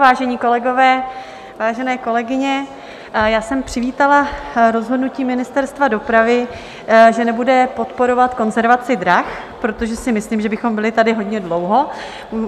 Vážení kolegové, vážené kolegyně, já jsem přivítala rozhodnutí Ministerstva dopravy, že nebude podporovat konzervaci drah, protože si myslím, že bychom tady byli hodně dlouho.